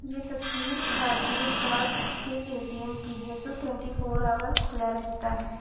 ये तस्वीर भारतीय डाक के ए_टी_एम की है जो ट्वेंटी फोर ऑवर खुला रहता है।